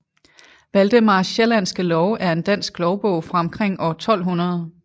Valdemars Sjællandske Lov er en dansk lovbog fra omkring år 1200